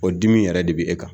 O dimi yɛrɛ de bɛ e kan